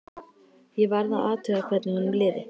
Ég varð að athuga hvernig honum liði.